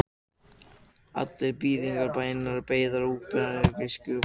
Allar þýðingar bænarinnar eru beinar eða óbeinar þýðingar á þessari grísku útgáfu.